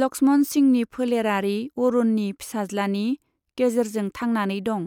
लक्ष्मण सिंहनि फोलेरारि अरुणनि फिसाज्लानि गेजेरजों थांनानै दं,